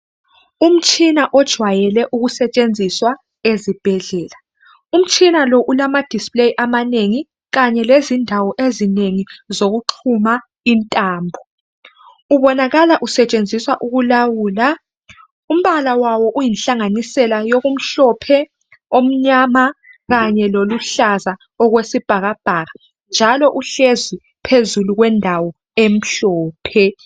Umtshina ojwayele ukusetshenziswa ezibhedlela umtshina lo ulama display amanengi kanye lezindawo ezinengi zokuxhuma intambo ubonakala usetshenziswa ukulawula umbala wawo uyinhlanganisela yokumhlophe okumnyama kanye loluhlaza okwesibhakabhaka njalo uhlezi phezulu kwendawo emhlophe.